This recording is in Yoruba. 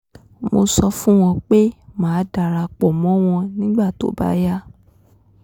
mo sọ fún wọn pé màá dara pọ̀ mọ́ wọn nígbà tó bá yá